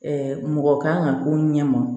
mɔgɔ kan ka k'o ɲɛma